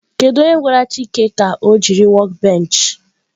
Kedu onye gwara chika ka o jiri workbench?